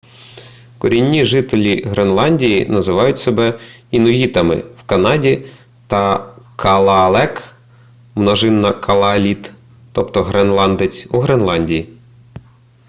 корінні жителі гренландії називають себе інуїтами в канаді та калаалек множина калааліт тобто гренландець у гренландії